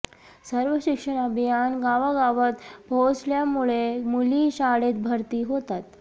सर्व शिक्षण अभियान गावागावात पोहोचल्यामुळे मुली शाळेत भरती होतात